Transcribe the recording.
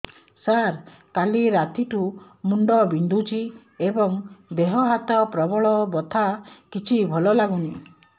ସାର କାଲି ରାତିଠୁ ମୁଣ୍ଡ ବିନ୍ଧୁଛି ଏବଂ ଦେହ ହାତ ପ୍ରବଳ ବଥା କିଛି ଭଲ ଲାଗୁନି